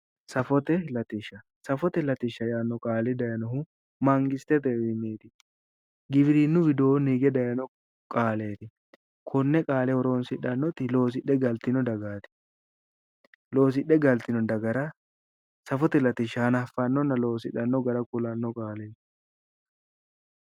Safote latishsha yinnanni qaali daayinohu mangistetewinniti hige dayinno qaaleti kone qaale horonsidhanoti loosidhe gallitinno dagati ,loosidhe gallitino dagara safote latishsha afano gede ku'lano qaaleti